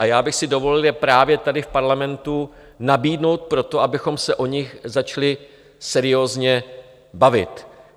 A já bych si dovolil je právě tady v parlamentu nabídnout proto, abychom se o nich začali seriózně bavit.